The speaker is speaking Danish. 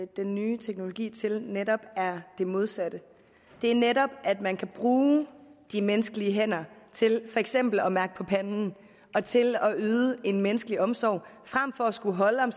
den nye teknologi til netop er det modsatte det er netop at man kan bruge de menneskelige hænder til for eksempel at mærke på panden og til at yde en menneskelig omsorg frem for at skulle holde om